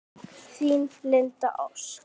Þín, Linda Ósk.